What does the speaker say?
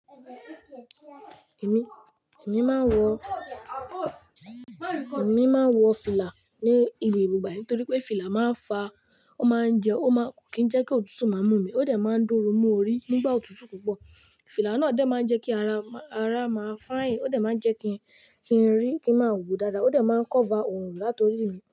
Èmi, èmi máa ń wọ, èmi máa ń wọ fìlà ní gbogbo ìgbà nítorí pé fìlà máa ń fa, ó máa ń jẹ ó máa kì í jẹ́ kí òtútù má mú mi, ó dẹ̀ máa ń dóru mú orí nígbà òtútù púpọ̀. Fìlà náà dẹ̀ máa ń jẹ́ kí ara, ara máa fine, ó dẹ̀ máa ń jẹ́ kí i, kí n rí, kí n máa wò dáadáa ó dẹ̀ máa ń cover òórùn látọrí mi.